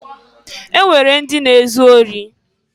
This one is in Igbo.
E nwere ndị na-ezu ori.